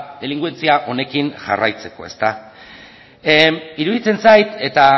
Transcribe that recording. delinkuentzia honekin jarraitzeko iruditzen zait eta